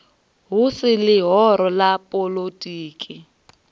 hu si ḽihoro ḽa poḽotiki